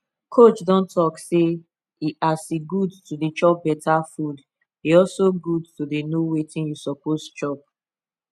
coach don talk say e as e good to dey chop better food e also good to dey know wetin you suppose chop